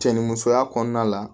Cɛ ni musoya kɔnɔna la